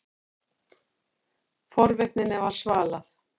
Forvitninni var svalað.